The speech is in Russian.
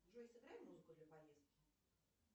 джой сыграй музыку для поездки